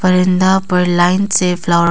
बरन्दा पर लाइन से फ्लावर --